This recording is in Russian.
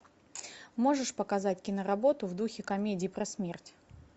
можешь показать киноработу в духе комедии про смерть